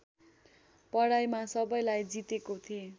पढाइमा सबैलाई जितेको थेँ